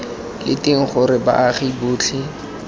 leng teng gore baagi botlhe